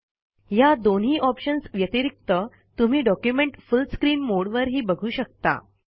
ह्या दोन्ही ऑप्शन्स व्यतिरिक्त तुम्ही डॉक्युमेंट फुल स्क्रीन मोडवर ही बघू शकता